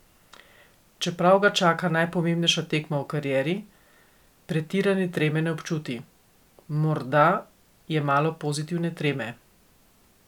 Čeprav ga čaka najpomembnejša tekma v karieri, pretirane treme ne občuti: "Morda je malo pozitivne treme.